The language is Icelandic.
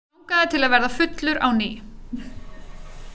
Hann langaði til að verða fullur á ný.